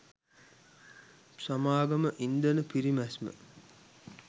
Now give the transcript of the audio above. සමාගම ඉන්ධන පිරිමැස්ම